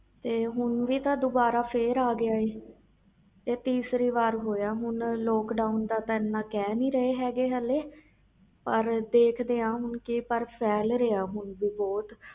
ਤੇ ਹੁਣ ਵੀ ਦੁਬਾਰਾ ਫਿਰ ਆ ਗਿਆ ਹੈ ਤੀਸਰੀ ਵਾਰ ਹੋਇਆ ਹੁਣ lockdwon ਦਾ ਤੇ ਕਹਿ ਨਹੀਂ ਰਹੇ ਪਰ ਦੇਖ ਦੇ ਆ ਫੈਲ ਰਹੇ ਹਾਲੀ ਵੀ